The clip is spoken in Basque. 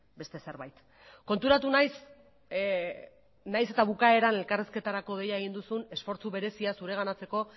beste zerbait konturatu nahiz nahiz eta bukaeran elkarrizketarako deia egin duzun esfortzu berezia zureganatzeko